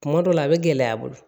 Kuma dɔ la a bɛ gɛlɛya i bolo